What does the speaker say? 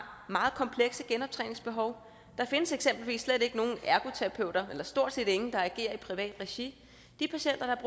meget komplekse genoptræningsbehov og der findes eksempelvis stort set ikke nogen ergoterapeuter der agerer i privat regi de patienter